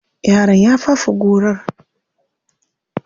Yaron ya fafe gorar.